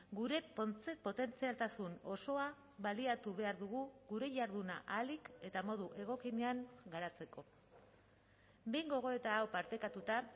gure potentzialtasun osoa baliatu behar dugu gure jarduna ahalik eta modu egokienean garatzeko behin gogoeta hau partekatuta